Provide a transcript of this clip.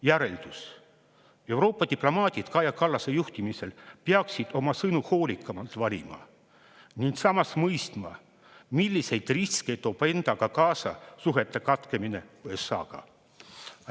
Järeldus: Euroopa diplomaadid Kaja Kallase juhtimisel peaksid oma sõnu hoolikamalt valima ning samas mõistma, milliseid riske toob endaga kaasa suhete katkemine USA-ga.